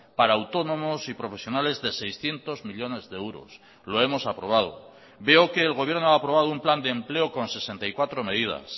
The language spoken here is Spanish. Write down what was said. para autónomos y profesionales de seiscientos millónes de euros lo hemos aprobado veo que el gobierno ha aprobado un plan de empleo con sesenta y cuatro medidas